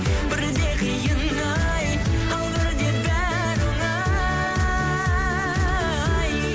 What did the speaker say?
бірде қиын ай ал бірде бәрі оңай